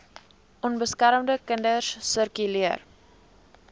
onbeskermde kinders sirkuleer